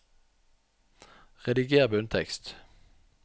Rediger bunntekst